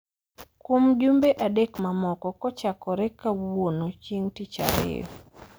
kuom jumbe adek mamoko kochakore kawuono chieng' tich ariyo.